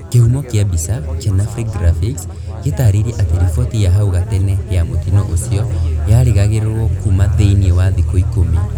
kĩhumo kĩa mbica , kenafri graphics gĩtarĩirie atĩ riboti ya hau gatene ya mũtino ũcio yarĩgagĩrĩrwo kuma thĩ-inĩ wa thikũ ikũmi